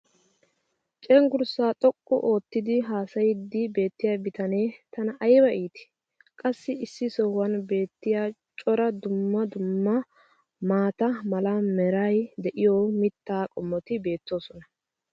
cengurssaa xoqqu oottidi haasayiidi beetiya bitanee tana ayba iittii! qassi issi sohuwan beetiya cora dumma dumma maata mala meray diyo mitaa qommoti beetoosona.